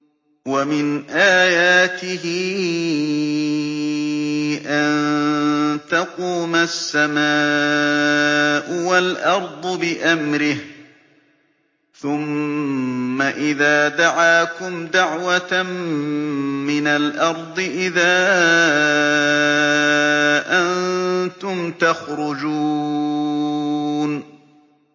وَمِنْ آيَاتِهِ أَن تَقُومَ السَّمَاءُ وَالْأَرْضُ بِأَمْرِهِ ۚ ثُمَّ إِذَا دَعَاكُمْ دَعْوَةً مِّنَ الْأَرْضِ إِذَا أَنتُمْ تَخْرُجُونَ